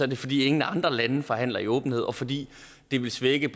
det fordi ingen andre lande forhandler i åbenhed og fordi det ville svække